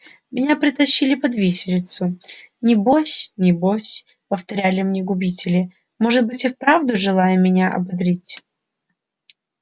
меня притащили под виселицу не бось не бось повторяли мне губители может быть и вправду желая меня ободрить